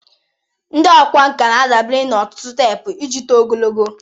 Ndị ọkwá nkà na-adabere na otutu teepu iji tụọ ogologo.